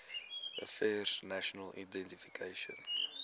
affairs national identification